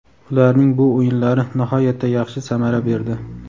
Ularning bu o‘yinlari nihoyatda yaxshi samara berdi.